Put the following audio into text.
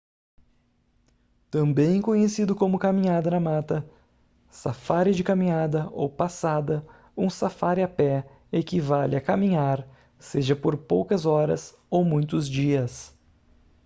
também conhecido como caminhada na mata safári de caminhada ou passada um safári a pé equivale a caminhar seja por poucas horas ou muitos dias